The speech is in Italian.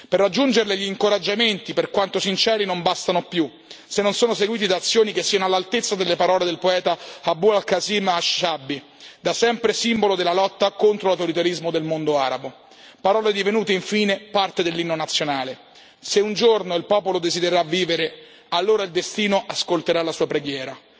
Per raggiungerle, gli incoraggiamenti per quanto sinceri non bastano più, se non sono seguiti da azioni che siano all'altezza delle parole del poeta Abu l Qasim al Shabbi, da sempre simbolo della lotta contro l'autoritarismo del mondo arabo, parole divenute infine parte dell'inno nazionale Se un giorno il popolo desidererà vivere, allora il destino ascolterà la sua preghiera.